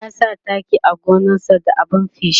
ya sa taki a gonan sa da abun feshi